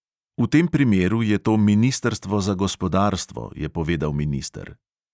V tem primeru je to ministrstvo za gospodarstvo, je povedal minister.